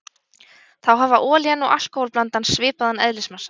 Þá hafa olían og alkóhól-blandan svipaðan eðlismassa.